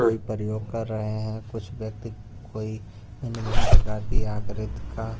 कोई प्रयोग कर रहे हैं कुछ व्यक्ति कोई भिन्न-भिन्न प्रकार की आकृत का--